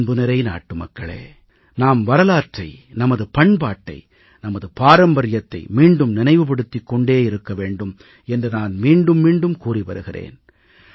அன்புநிறை நாட்டுமக்களே நாம் வரலாற்றை நமது பண்பாட்டை நமது பாரம்பரியத்தை மீண்டும் நினைவுபடுத்திக் கொண்டே இருக்க வேண்டும் என்று நான் மீண்டும் மீண்டும் கூறி வருகிறேன்